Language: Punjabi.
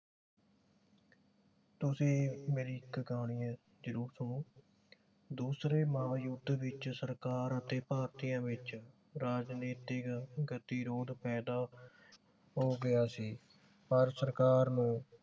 ਤੁਸੀਂ ਮੇਰੀ ਇਕ ਕਹਾਣੀ ਇਹ ਜਰੂਰ ਸੁਣੋ ਦੁਸਰੇ ਮਹਾਂਯੁੱਧ ਵਿਚ ਸਰਕਾਰ ਅਤੇ ਭਾਰਤੀਆਂ ਵਿਚ ਰਾਜਨੀਤਿਕ ਗਤਿਰੋਧ ਪੈਦਾ ਹੋ ਗਿਆ ਸੀ ਪਰ ਸਰਕਾਰ ਨੂੰ